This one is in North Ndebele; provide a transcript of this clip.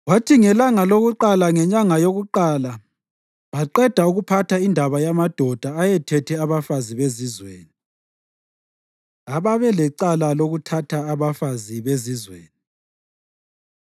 kwathi ngelanga lokuqala ngenyanga yokuqala baqeda ukuphatha indaba yamadoda ayethethe abafazi bezizweni. Ababelecala Lokuthatha Abafazi Bezizweni